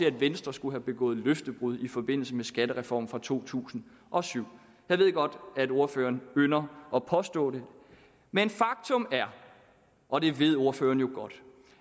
at venstre skulle have begået løftebrud i forbindelse med skattereformen fra to tusind og syv jeg ved godt at ordføreren ynder at påstå det men faktum er og det ved ordføreren jo godt